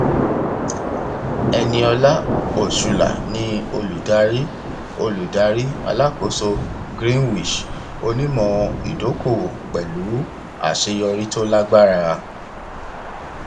eniola osula ni olùdarí olùdarí alákóso greenwich onímọ ìdókòwò pẹlú àṣeyọrí tó lágbára